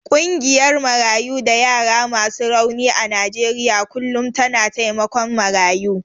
Ƙungiyar Marayu da yara masu rauni a Najeriya kullum tana taimakon marayu.